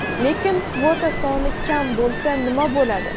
lekin kvota soni kam bo‘lsa nima bo‘ladi?.